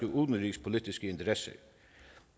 udenrigspolitiske interesser